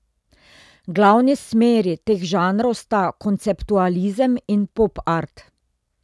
Glavni smeri teh žanrov sta konceptualizem in popart.